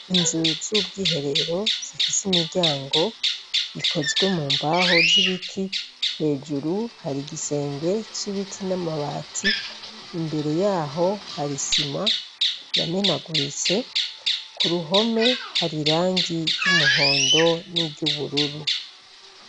Inzu z'ubwiherero zifise imiryango ikozwe mumbaho z'ibiti, hejuru har'igisenge c'ibiti n'amabati imbere yaho har isima yamenaguritse, k'uruhome hasize irangi ry'umuhondo niry'ubururu.